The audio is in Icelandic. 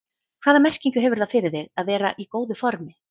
Hvaða merkingu hefur það fyrir þig að vera í góðu formi?